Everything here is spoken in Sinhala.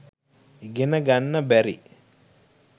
ඉගෙන ගන්න බැරි